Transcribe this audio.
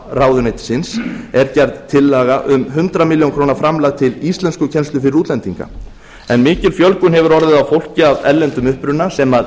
menntamálaráðuneytisins er gerð tillaga um hundrað milljónir króna framlag til íslenskukennslu fyrir útlendinga mikil fjölgun hefur orðið á fólki af erlendum uppruna sem